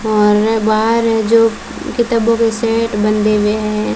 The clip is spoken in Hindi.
और बाहर है जो किताबों का सेट बंधे हुए है।